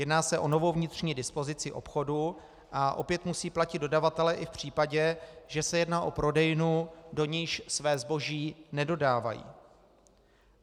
Jedná se o novou vnitřní dispozici obchodu a opět musí platit dodavatelé i v případě, že se jedná o prodejnu, do níž své zboží nedodávají.